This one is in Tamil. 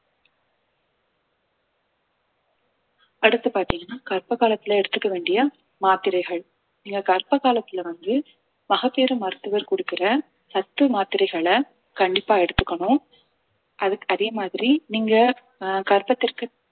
அடுத்து பாத்தீங்கன்னா கர்ப்ப காலத்துல எடுத்துக்க வேண்டிய மாத்திரைகள் நீங்க கர்ப்ப காலத்துல வந்து மகப்பேறு மருத்துவர் கொடுக்கிற சத்து மாத்திரைகளை கண்டிப்பா எடுத்துக்கணும் அதுக்~ அதே மாதிரி நீங்க ஆஹ் கர்ப்பத்திற்கு